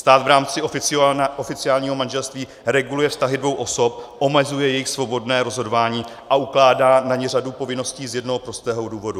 Stát v rámci oficiálního manželství reguluje vztahy dvou osob, omezuje jejich svobodné rozhodování a ukládá na ně řadu povinností z jednoho prostého důvodu.